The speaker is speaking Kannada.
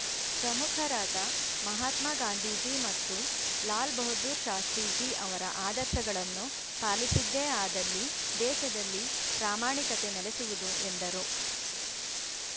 ಪ್ರಮುಖರಾದ ಮಹಾತ್ಮ ಗಾಂಧೀಜಿ ಮತ್ತು ಲಾಲ್‌ ಬಹದ್ದೂರ್‌ ಶಾಸ್ತ್ರೀಜಿ ಅವರ ಆದರ್ಶಗಳನ್ನು ಪಾಲಿಸಿದ್ದೇ ಆದಲ್ಲಿ ದೇಶದಲ್ಲಿ ಪ್ರಾಮಾಣಿಕತೆ ನೆಲೆಸುವುದು ಎಂದರು